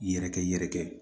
Yɛrɛkɛ yɛrɛkɛ